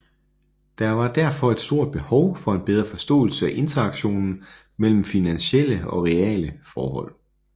Der var derfor et stort behov for en bedre forståelse af interaktionen mellem finansielle og reale forhold